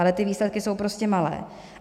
Ale ty výsledky jsou prostě malé.